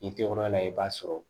I tɛ o yɔrɔ la i b'a sɔrɔ